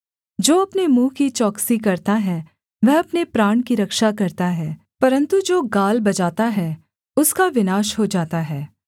जो अपने मुँह की चौकसी करता है वह अपने प्राण की रक्षा करता है परन्तु जो गाल बजाता है उसका विनाश हो जाता है